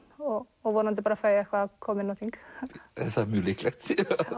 og og vonandi fæ ég eitthvað að koma inn á þing það er mjög líklegt